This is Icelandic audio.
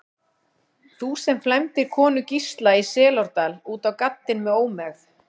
Þú, sem flæmdir konu Gísla í Selárdal út á gaddinn með ómegð.